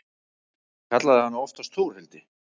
Ég kallaði hana oftast Þórhildi.